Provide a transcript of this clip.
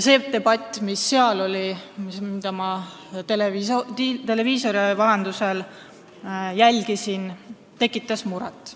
See debatt, mis seal oli ja mida ma televiisori vahendusel jälgisin, tekitas muret.